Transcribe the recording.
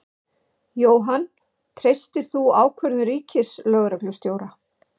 Jóhann: Treystir þú ákvörðun Ríkislögreglustjóra?